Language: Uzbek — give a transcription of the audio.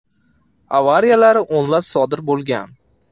Avariyalar o‘nlab sodir bo‘lgan.